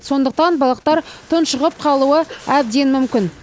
сондықтан балықтар тұншығып қалуы әбден мүмкін